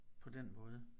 På den måde